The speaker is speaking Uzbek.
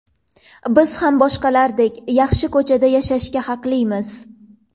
Biz ham boshqalardek, yaxshi ko‘chada yashashga haqlimiz.